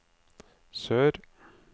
sør